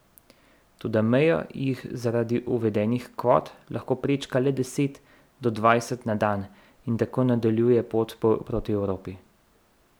Toda mejo jih zaradi uvedenih kvot lahko prečka le od deset do dvajset na dan in tako nadaljuje pot proti Evropi.